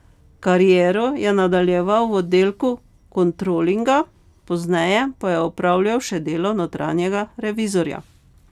Kariero je nadaljeval v oddelku kontrolinga, pozneje pa je opravljal še delo notranjega revizorja.